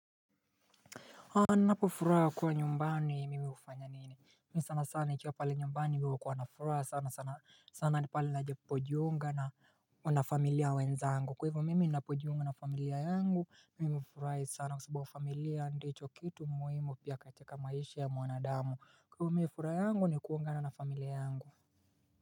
A napofuraha kuwa nyumbani nimeufanya nini? Mi sana sana nikiwa pale nyumbani mi hukua na furaha sana sana, sana pale napojiunga na, wanafamilia wenzangu. Kwa hivyo mimi ninapojiunga na familia yangu, mimi hufurahi sana kwa sababu familia ndicho kitu muhimu pia katika maisha ya mwanadamu. Kwa hivyo mi furaha yangu ni kuungana na familia yangu.